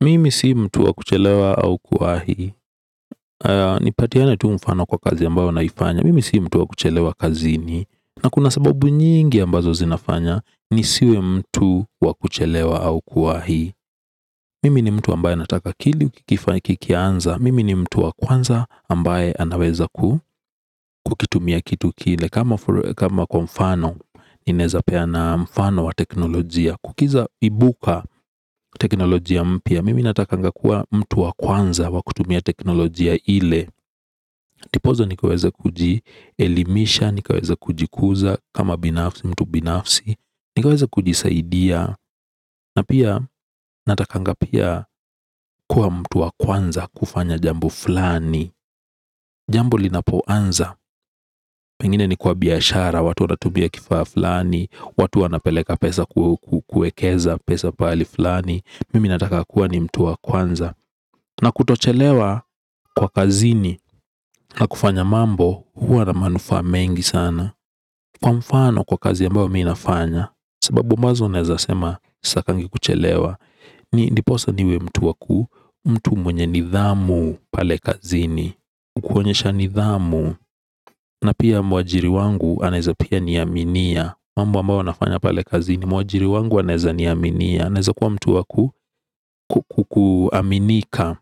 Mimi si mtu wa kuchelewa au kuwahi nipatiane tu mfano kwa kazi ambayo naifanya mimi si mtu wa kuchelewa kazini na kuna sababu nyingi ambazo zinafanya nisiwe mtu wa kuchelewa au kuwahi mimi ni mtu wa kwanza ambaye anawezaku kukitumia kitu kile kama kwa mfano ninezapea na mfano wa teknolojiya kukiza ibuka teknolojiya mpya mimi natakanga kuwa mtu wa kwanza wa kutumia teknolojiya ile ndiposa nikaweze kujielimisha nikaweze kujikuza kama binafsi mtu binafsi ni kwawezakuji saidia na pia natakanga kuwa mtu wa kwanza kufanya jambo flani jambo linapoanza pengine ni kwa biashara watu wanatumia kifaa flani watu wanapeleka pesa kuwekeza pesa pahali fulani mimi nataka kuwa ni mtu wa kwanza na kutochelewa kwa kazini na kufanya mambo huwa la manufaa mengi sana kwa mfano kwa kazi ambayo minafanya sababu ambazo naeza sema sitakangi kuchelewa ni ndiposa niwe mtu wa ku mtu mwenye nidhamu pale kazini kwa kuonyesha nidhamu na pia mwajiri wangu anaeza pia niaminia mambo ambayo nafanya pale kazini mwajiriwangu anaeza ni aminia naeza kwa mtu wa kukuaminika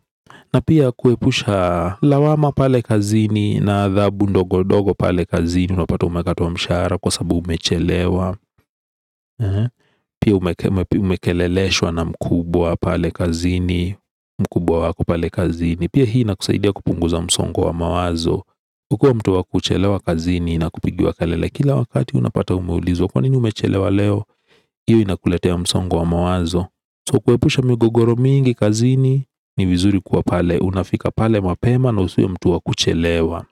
na pia kwepusha lawama pale kazini na adhabu ndogo ndogo pale kazini unapata umekatwa mshara sababu umechelewa pia umekeleleshwa na mkubwa pale kazini pia hii inakusaidia kupunguza msongo wa mawazo kukua mtu wa kuchelewa kazini na kupigiwa kalele kila wakati unapata umeulizwa kwa nini umechelewa leo iyo na kuletea msongo wa mawazo so kwepusha migugoro mingi kazini ni vizuri kwa pale unafika pale mapema na usiwe mtu wa kuchelewa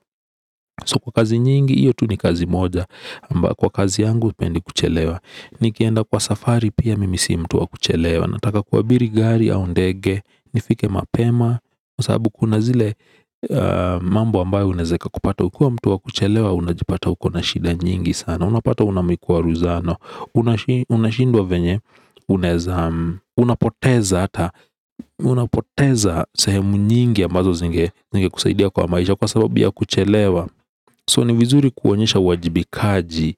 so kwa kazi nyingi iyo tu ni kazi moja ambayo kwa kazi yangu sipendi kuchelewa nikienda kwa safari pia mimi si mtu wa kuchelewa na taka kuabiri gari au ndege nifike mapema sababu kuna zile mambo ambayo inaeza kupata ukiwa mtu wa kuchelewa unajipata uko shida nyingi sana unapata unamikuwaruzano unashindwa venye unapoteza hata unapoteza sahemu nyingi ambazo zingekusaidia kwa maisha kwa sababu ya kuchelewa so ni vizuri kuonyesha wajibikaji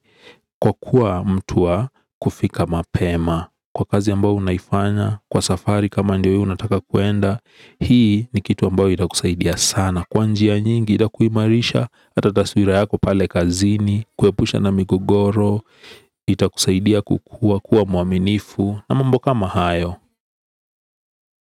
kwa kuwa mtu wa kufika mapema kwa kazi ambao unaifanya kwa safari kama ndio unataka kuenda hii ni kitu ambayo itakusaidia sana kwa njia nyingi itakumarisha hata taswira yako pale kazini kwepusha na migogoro itakusaidia kwa, kuwa muaminifu namambo kama hayo.